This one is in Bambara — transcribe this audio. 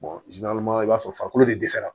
i b'a sɔrɔ farikolo de dɛsɛra